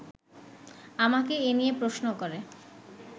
আমাকে এ নিয়ে প্রশ্ন করে